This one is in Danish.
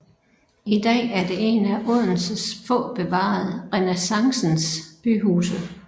I dag er det et af Odenses få bevarede renæssancens byhuse